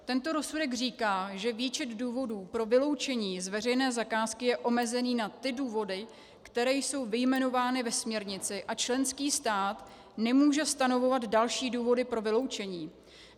Tento rozsudek říká, že výčet důvodů pro vyloučení z veřejné zakázky je omezený na ty důvody, které jsou vyjmenovány ve směrnici, a členský stát nemůže stanovovat další důvody pro vyloučení.